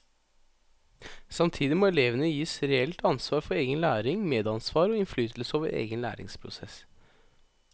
Samtidig må elevene gis reelt ansvar for egen læring, medansvar og innflytelse over egen læringsprosess.